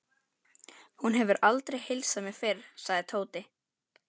Hún hefur aldrei heilsað mér fyrr, sagði Tóti.